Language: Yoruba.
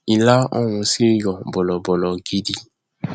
ilá ọhún sì yọ bọlọbọlọ gidi